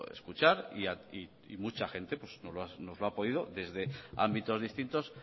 escuchar y mucha gente nos lo ha podido desde ámbitos distinto